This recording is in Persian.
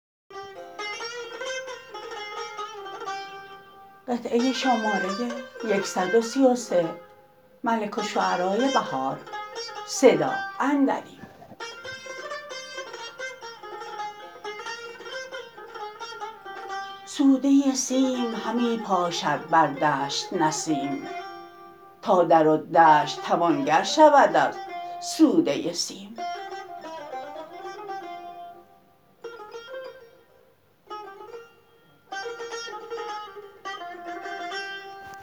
سوده سیم همی پاشد بر دشت نسیم تا در و دشت توانگر شود از سوده سیم